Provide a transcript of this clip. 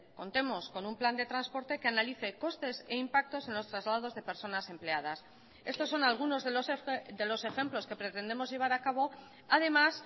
contemos con un plan de transporte que analice costes e impactos en los traslados de personas empleadas estos son algunos de los ejemplos que pretendemos llevar a cabo además